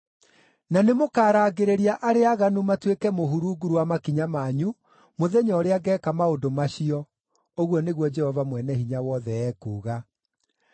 Na nĩmũkarangĩrĩria arĩa aaganu matuĩke mũhu rungu rwa makinya manyu mũthenya ũrĩa ngeeka maũndũ macio,” ũguo nĩguo Jehova Mwene-Hinya-Wothe ekuuga.